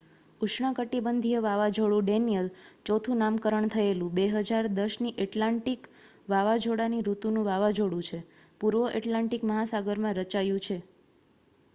ઉષ્ણકટિબંધીય વાવાઝોડું ડેનિયલ ચોથું નામકરણ થયેલું 2010ની એટલાન્ટિક વાવાઝોડાની ઋતુનું વાવાઝોડું છે પૂર્વ એટલાન્ટિક મહાસાગરમાં રચાયું છે